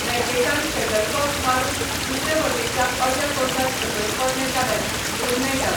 रॅकेटान shuttlecock मारून दुसरे वटेच्या अर्द्या कोर्टांत सकयल पडलें जाल्यार गूण मेळटात.